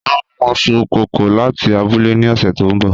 Wọn n mu iṣu kókò lati abule ni ọsẹ to nbọ